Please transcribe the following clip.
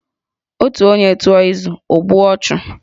Otu onye tụọ izu, o gbuo ọchụ